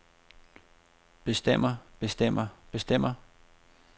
bestemmer bestemmer bestemmer